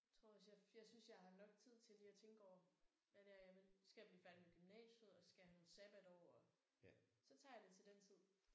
Tror også jeg jeg synes jeg har nok tid til lige at tænke over hvad det er jeg vil. Så skal jeg blive færdig med gymnasiet og så skal jeg have nogle sabbatår og så tager jeg det til den tid